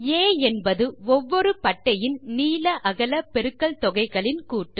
ஆ என்பது ஒவ்வொரு பட்டையின் நீள அகல பெருக்கல் தொகைகளின் கூட்டு